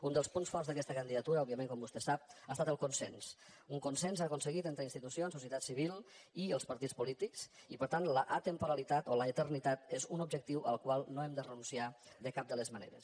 un dels punts forts d’aquesta candidatura òbviament com vostè sap ha estat el consens un consens aconse·guit entre institucions societat civil i els partits polí·tics i per tant l’atemporalitat o l’eternitat és un objec·tiu al qual no hem de renunciar de cap de les maneres